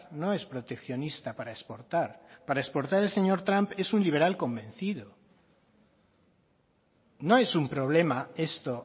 no es proteccionista para exportar para exportar el señor trump es un liberal convencido no es un problema esto